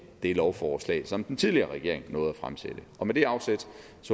det lovforslag som den tidligere regering nåede at fremsætte med det afsæt